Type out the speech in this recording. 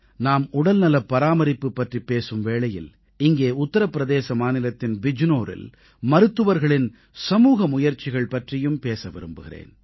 நாம் உடல்நலப் பராமரிப்பு பற்றிப் பேசும் வேளையில் இங்கே உத்தரபிரதேச மாநிலத்தின் பிஜ்நோரில் மருத்துவர்களின் சமூக முயற்சிகள் பற்றியும் பேச விரும்புகிறேன்